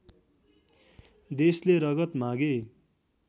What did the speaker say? देशले रगत मागे